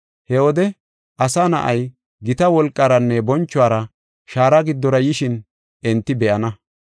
He wode Asa Na7ay, gita wolqaranne bonchuwara shaara giddora yishin enti be7ana.